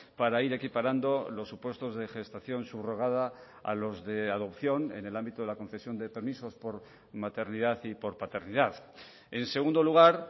para ir equiparando los supuestos de gestación subrogada a los de adopción en el ámbito de la concesión de permisos por maternidad y por paternidad en segundo lugar